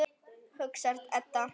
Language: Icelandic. hugsar Edda.